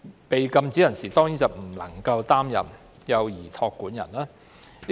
被禁止人士當然不能擔任幼兒託管人。